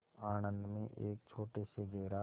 आणंद में एक छोटे से गैराज